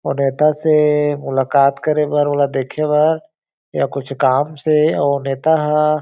वो नेता से मुलकात करे बर वाला देखे बार या कुछ काम से अउ वो नेता ह--